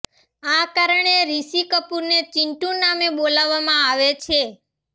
આ કારણે રિશી કપૂરને ચિન્ટુ નામે બોલાવવામાં આવે છે